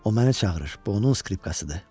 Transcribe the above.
O məni çağırır, bu onun skripkasıdır.